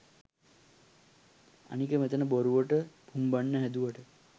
අනික මෙතන බොරුවට පුම්බන්න හැදුවට